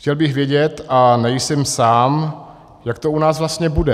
Chtěl bych vědět, a nejsem sám, jak to u nás vlastně bude.